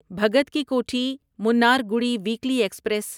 Bhagat ki Kothi Mannargudi weekly express